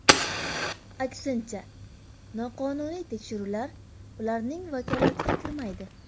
Aksincha, noqonuniy tekshiruvlar ularning vakolatiga kirmaydi.